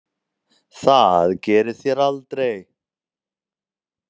Það gerið þér aldrei.